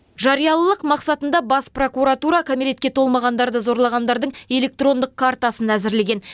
жариялылық мақсатында бас прокуратура кәмелетке толмағандарды зорлағандардың электрондық картасын әзірлеген